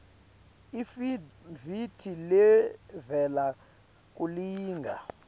iafidavithi levela kulilunga